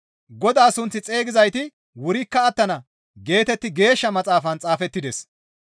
«Godaa sunth xeygizayti wurikka attana» geetetti Geeshsha Maxaafan xaafettides.